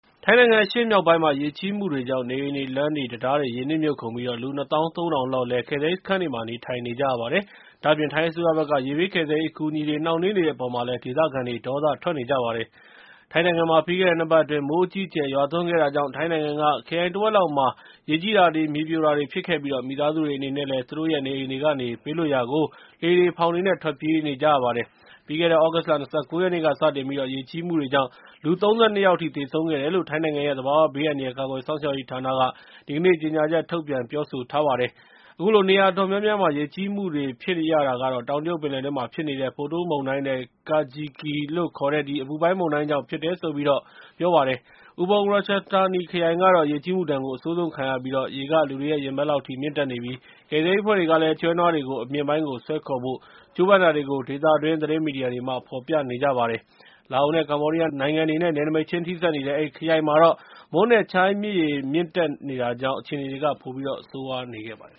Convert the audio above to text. ထိုင်းနိုင်ငံ အရှေ့မြောက်ပိုင်းမှာ ရေကြီးမှုတွေကြောင့် နေအိမ်တွေ၊ လမ်းတွေနဲ့ တံတားတွေ ရေနစ်မြုပ်ကုန်ပြီး လူ ၂ သောင်း ၃ ထောင်လောက် ကယ်ဆယ်ရေးစခန်းတွေမှာ နေထိုင်နေကြရပါတယ်။ ဒါ့အပြင် ထိုင်းအစိုးရဘက်က ရေဘေးကယ်ဆယ်ရေး အကူအညီတွေ နှောင့်နှေးနေတဲ့ အပေါ်မှာလည်း ဒေသခံတွေ ဒေါသထွက်နေကြပါတယ်။ ထိုင်းနိုင်ငံမှာ ပြီးခဲ့တဲ့ ၂ ပတ်အတွင်း မိုးအကြီးအကျယ် ရွာသွန်းခဲ့တာကြောင့် ထိုင်းနိုင်ငံက ခရိုင်တဝက်လောက်မှာ ရေကြီးတာတွေ၊ မြေပြိုတာတွေ ဖြစ်ခဲ့ပြီး မိသားစုတွေအနေနဲ့ သူတို့ရဲ့ နေအိမ်တွေကနေ ဘေးလွတ်ရာကို လှေတွေ၊ ဖောင်တွေနဲ့ ထွက်ပြေးခဲ့ကြရပါတယ်။ ပြီးခဲ့တဲ့ သြဂုတ်လ ၂၉ ရက်နေ့ကစတင်ပြီး ရေကြီးမှုကြောင့် လူ ၃၂ ယောက် သေဆုံးခဲ့တယ်လု့ိ ထိုင်းနိုင်ငံရဲ့ သဘာဝဘေးအန္တရာယ် ကာကွယ်စောင့်ရှောက်ရေးဌာနက ဒီကနေ့ ကြေညာချက်ထုတ်ပြန် ပြောကြားလိုက်ပါတယ်။ အခုလို နေရာအတော်များများမှာ ရေကြီးမှုတွေ ဖြစ်ရတာကတော့ တောင်တရုတ်ပင်လယ်အတွင်းမှာ ဖြစ်နေတဲ့ Podul မုန်တိုင်းနဲ့ Kajiki လို့ခေါ်တဲ့ အပူပိုင်းမုန်တိုင်းကြောင့် ဖြစ်တယ်လို့ ပြောပါတယ်။ Ubon Ratchathani ခရိုင်ကတော့ ရေကြီးမှုဒဏ်ကို အဆိုးဆုံးခံခဲ့ရပြီး ရေက လူတွေရဲ့ ရင်ဘတ်လောက်အထိ မြင့်တက်နေပြီး ကယ်ဆယ်ရေးအဖွဲ့တွေကလည်း ကျွဲနွားတွေကို အမြင့်ပိုင်းကို ဆွဲခေါ်ဖို့ ကြိုးပမ်းခဲ့ကြတာတွေကို ဒေသတွင်း သတင်းမီဒီယာတွေက ဖော်ပြနေပါတယ်။ လာအိုနဲ့ ကမ္ဘောဒီးယားနိုင်ငံတွေထဲ နယ်နိမိတ်ချင်း ထိစပ်နေတဲ့ အဲဒီခရိုင်မှာတော့ Moon နဲ့ Chi မြစ်ရေမြင့်တက်တာကြောင့် အခြေအနေတွေက ပိုပြီးတော့ ဆိုးရွားစေခဲ့ပါတယ်